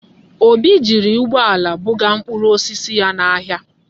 Obi jiri ụgbọala buga mkpụrụ osisi ya n'ahịa.